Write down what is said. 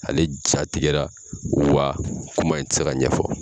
Ale jatigɛra wa kuma in ti se ka ɲɛfɔ.